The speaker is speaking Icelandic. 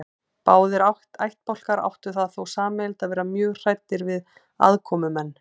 Báðir ættbálkar áttu það þó sameiginlegt að vera mjög hræddir við aðkomumenn.